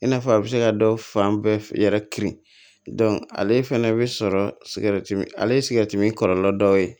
I n'a fɔ a bɛ se ka dɔ fan bɛɛ yɛrɛ kirin ale fana bɛ sɔrɔ sigɛriti min ale ye sigɛriti min kɔlɔlɔ dɔ ye